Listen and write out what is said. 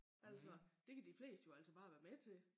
Altså det kan de fleste jo altså bare være med til